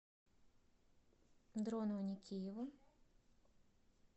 дрону аникееву